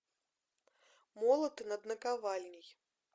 молоты над наковальней